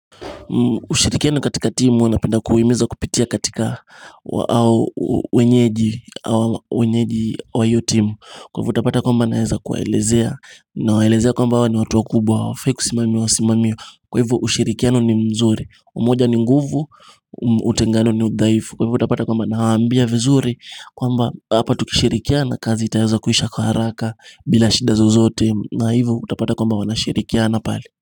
Ushirikiano katika timu huwa napenda kuhimiza kupitia katika wenyeji wa hiyo timu Kwa hivyo utapata kwamba naeza kuwaelezea nawaelezea kwamba hao ni watu wakubwa hawafai kusimamiwa simamiwa Kwa hivyo ushirikiano ni mzuri, umoja ni nguvu, utengano ni udhaifu Kwa hivyo utapata kwamba nawaambia vizuri kwamba hapa tukishirikiana kazi itaweza kuisha kwa haraka bila shida zozote na hivyo utapata kwamba wanashirikiana pale.